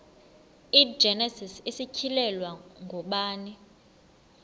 igenesis isityhilelo ngubani